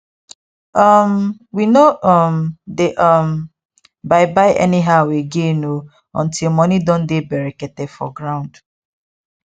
um we no um dey um buy buy anyhow again oo until money don dey berekete for ground